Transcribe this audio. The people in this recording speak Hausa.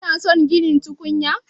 Kina son ginin tukunya?